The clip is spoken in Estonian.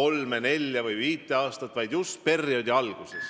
kolm, neli või viis aastat, vaid teha seda just perioodi alguses.